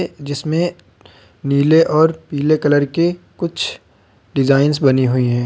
जिसमें नीले और पीले कलर के कुछ डिजाइंस बने हुए हैं।